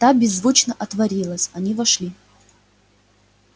та беззвучно отворилась они вошли